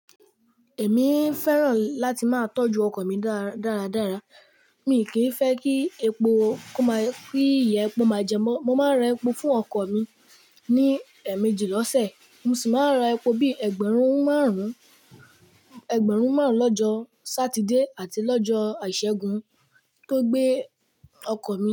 Èmi fẹ́ràn láti máa tójú ọkò mi dáradára. Miì kìí fẹ́ kí epo kó máa kí ìyà epo máa jẹ wọ́n. Mo máa ra epo fún ọkọ mi ní ẹ̀meejì l'ọ́sẹ̀. Mo sì máa ra epo bíì ẹgbẹ̀rún márùn-ún, ẹgbẹ̀rún márùn-ún lọ́jọ́ Sátidé àti lọ́jọ́ Ìṣẹ́gun tó gbé ọkọ mi.